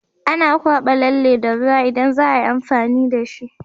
Ana kwaba lalle da ruwa idan zaayi amfani dashi